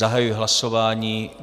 Zahajuji hlasování.